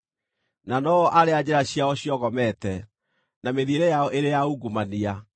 na no-o arĩa njĩra ciao ciogomete, na mĩthiĩre yao ĩrĩ ya ungumania.